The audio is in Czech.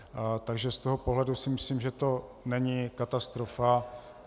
Takže z toho pohledu si myslím, že to není katastrofa.